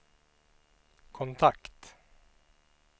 kontakt